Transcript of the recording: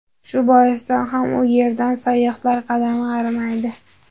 Shu boisdan ham u yerdan sayyohlar qadami arimaydi.